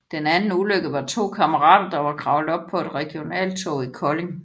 Den anden ulykke var to kammerater der var kravlet op på et regionaltog i Kolding